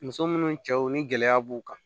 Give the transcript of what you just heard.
Muso munnu cɛw ni gɛlɛya b'u kan